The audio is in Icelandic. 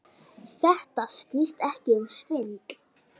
Þetta snýst ekki um svindl.